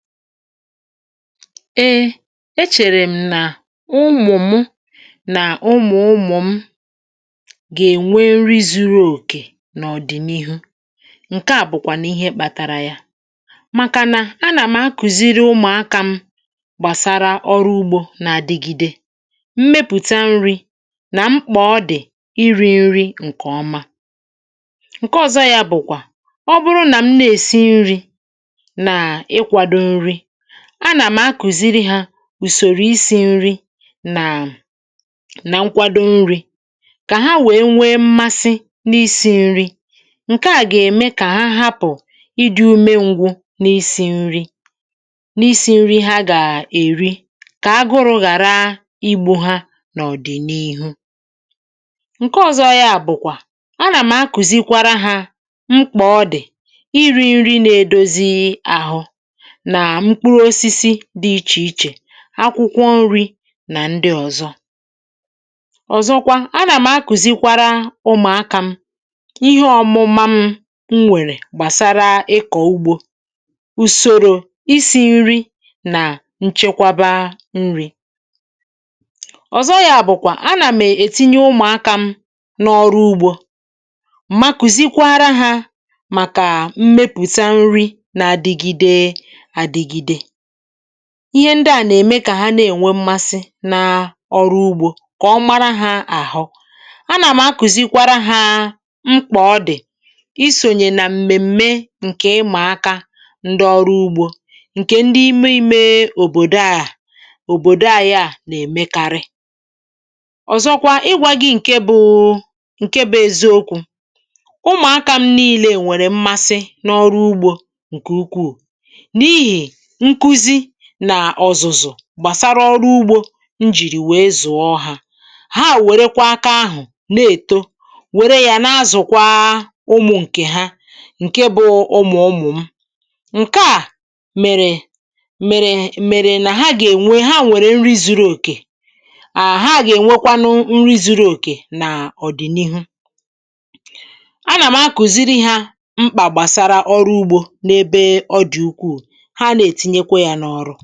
Ee, echèrè m nà ụmụ̀ m nà ụmụ̀ ụ̀mụ̀ m gà-ènwe nri zuru òkè n’ọ̀dị̀n’ihu. Ǹke à bụ̀kwànụ̀ ihe kpȧtàrà yà, màkànà a nà m akụ̀ziri ụmụ̀akȧ m gbàsara ọrụ ugbȯ nà adịgide mmepụ̀ta nri̇ nà mkpà ọ dị̀ iri̇ nri ǹkè ọma. Ǹkè ọ̀zọ yȧ bụ̀kwà ọ bụrụ nà m na-èsi nri̇, na ikwado nri, anà m akùziri hȧ ùsòrò isi̇ nri nà, nà nkwado nri, kà ha nwèe nwee mmasị n’isi̇ nri. Ǹke à gà-ème kà ha hapụ̀ ịdi̇ ume ngwu n’isi̇ nri, n’isi̇ nri ha gà-èri, kà ha gụrụ̇ ghàra igbu̇ ha n’ọ̀dị̀n’ihu. Ǹke ọ̀zọ ya bụ̀kwà, anà m akùzi kwara hȧ mkpà ọdị̀ iri̇ nri nà-edozi àhụ, na mkpụrụ osisi di iche-iche, akwụkwọ nri̇ nà ndị ọ̀zọ. Ọ̀zọkwa, anà m̀ akùzikwara ụmụ̀akȧ m ihe ọ̀mụ̀mụ̀ m nwèrè gbàsara ịkọ̀ ugbȯ, ùsòrò isi̇ nri, nà nchekwaba nri̇. Ọ̀zọ yȧ bụ̀kwà, anà m ètinye ụmụ̀akȧ m n’ọrụ ugbȯ, ma kuzikwara ha maka mmepùta nri na adịgide adịgide. Ihe ndị à nà-èmekà ha na-ènwe mmasị̇ n’ọrụ ugbȯ, kà ọ mara hȧ àhụ. A nà m̀ akùzikwara hȧ mkpà ọ dị̀ isònyè nà m̀mèm̀me ǹkè ịmà aka ndị ọrụ ugbȯ, ǹkè ndị ime ime òbòdò a, à òbòdò anyị a nà-èmekarị. Ọ̀zọkwa, ịgwȧ gị ǹke bụ eziokwu̇: ụmụ̀akȧ m niilė nwèrè mmasị n’ọrụ ugbȯ nke ukwuu, n'ihi nkụzi na ọzụzụ gbàsara ọrụ ugbȯ njìrì wèe zùọ ha, ha wèrekwa aka ahụ̀ na-èto, wère ya na-azụ̀kwa ụmụ̀ nkè ha, nke bụ̇ ụmụ̀ ụmụ̀ m. Nke a mèrè, mèrè, mèrè nà ha gà-ènwe, ha nwèrè nri zuru òkè. À ha gà-ènwekwanụ nri zuru òkè nà ọ̀dị̀nihu. A na m akụziri ha mkpa gbasara ọrụ ugbo n'ebe ọdị ukwu, ha n'etinyekwe ya n'ọrụ.